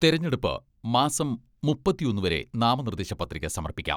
തെരഞ്ഞെടുപ്പ്, മാസം മുപ്പത്തൊന്ന് വരെ നാമനിർദ്ദേശ പ്രതിക സമർപ്പിക്കാം.